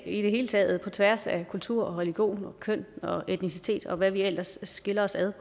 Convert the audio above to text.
hele taget på tværs af kultur religion køn og etnicitet og hvad der ellers skiller os ad